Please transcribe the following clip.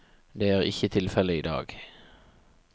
Det er ikke tilfellet i dag.